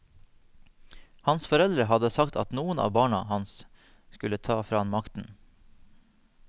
Hans foreldre hadde sagt at noen av barna hans skulle ta fra han makten.